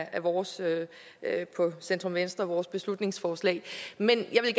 af vores centrum venstres beslutningsforslag men jeg vil